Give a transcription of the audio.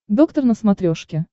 доктор на смотрешке